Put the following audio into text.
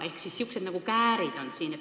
Ehk siin on sellised käärid.